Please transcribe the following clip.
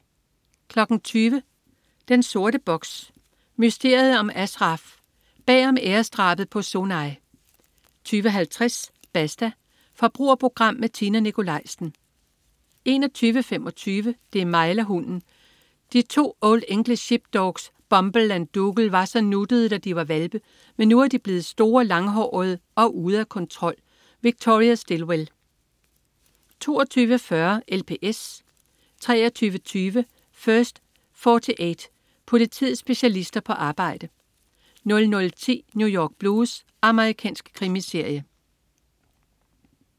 20.00 Den sorte box: Mysteriet om Ashraf. Bag om æresdrabet på Sonay 20.50 Basta. Forbrugerprogram med Tina Nikolaisen 21.25 Det er mig eller hunden! De to old english sheepdogs, Bumble og Doogle, var så nuttede, da de var hvalpe, men nu er de blevet store, langhårede og ude af kontrol. Victoria Stilwell 22.40 LPS 23.20 First 48. Politiets specialister på arbejde 00.10 New York Blues. Amerikansk krimiserie